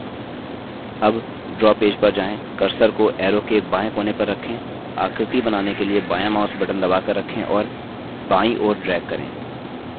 अब draw page पर जाएँ cursor को arrow के बाएँ कोने पर रखें आकृति बनाने के लिए बायाँ mouse button दबाकर रखें और बायीं ओर drag करें